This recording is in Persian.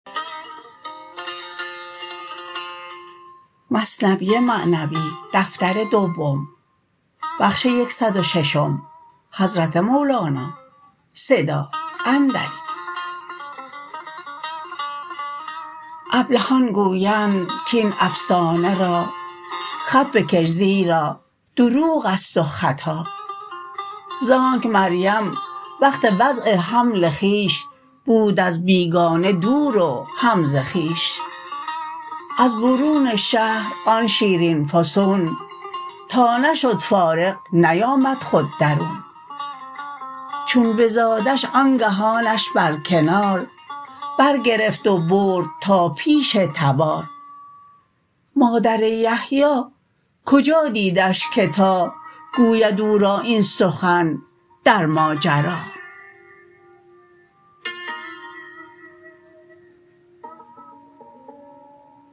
ابلهان گویند کین افسانه را خط بکش زیرا دروغست و خطا زانک مریم وقت وضع حمل خویش بود از بیگانه دور و هم ز خویش از برون شهر آن شیرین فسون تا نشد فارغ نیامد خود درون چون بزادش آنگهانش بر کنار بر گرفت و برد تا پیش تبار مادر یحیی کجا دیدش که تا گوید او را این سخن در ماجرا